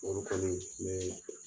olu kɔni n bɛ